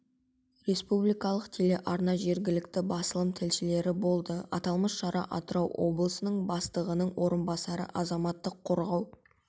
республикалық телеарна жергілікті басылым тілшілері болды аталмыш шара атырау облысының бастығының орынбасары азаматтық қорғау